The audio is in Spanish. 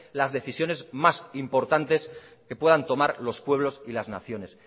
las decisiones más importantes que puedan tomar los pueblos y las naciones